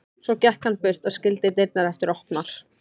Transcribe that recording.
Svo gekk hann burt og skildi dyrnar eftir opnar.